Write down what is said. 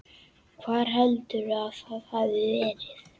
Hvar heldurðu að það hafi verið?